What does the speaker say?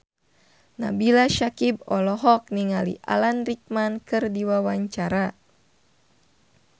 Nabila Syakieb olohok ningali Alan Rickman keur diwawancara